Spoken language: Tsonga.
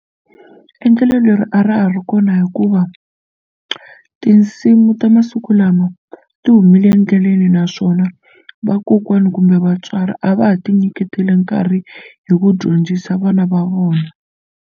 Endlelo leri a ra ha ri kona hikuva tinsimu ta masiku lama ti humile endleleni naswona vakokwani kumbe vatswari a va ha ti nyiketeli nkarhi hi ku dyondzisa vana va vona.